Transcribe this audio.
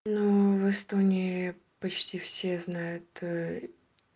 ну в эстонии почти все знают